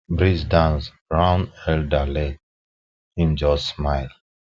breeze dance round elder leg him just smile